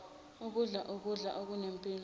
ukudla ukudla okunempilo